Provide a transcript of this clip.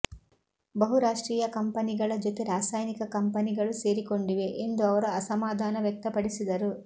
ಬಹುರಾಷ್ಟ್ರೀಯ ಕಂಪನಿಗಳ ಜೊತೆ ರಸಾಯನಿಕ ಕಂಪನಿಗಳು ಸೇರಿಕೊಂಡಿವೆ ಎಂದು ಅವರು ಅಸಮಾಧಾನ ವ್ಯಕ್ತಪಡಿಸಿದರು